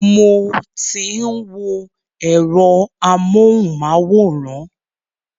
Mo ti ń wo ẹ̀rọ amúhùnmáwòrán.